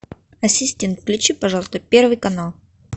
ассистент включи пожалуйста первый канал